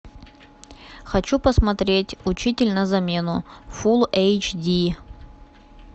хочу посмотреть учитель на замену фул эйч ди